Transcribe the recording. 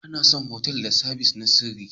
An san otal da sabis na sirri